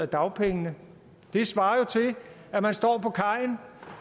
dagpenge det svarer jo til at man står på kajen